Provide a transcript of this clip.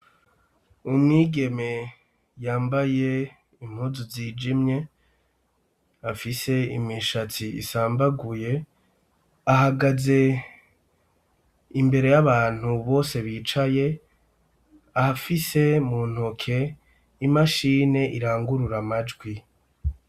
Umwigeme yambaye impuzu zijimye afise imishatsi isambaguye ahagaze imbere y'abantu bose bicaye afise mu ntoke imashini irangurura amajwi.